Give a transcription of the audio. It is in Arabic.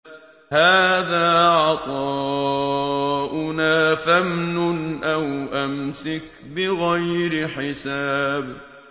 هَٰذَا عَطَاؤُنَا فَامْنُنْ أَوْ أَمْسِكْ بِغَيْرِ حِسَابٍ